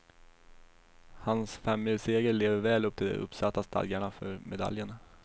Hans femmilsseger lever väl upp till de uppsatta stadgarna för medaljen.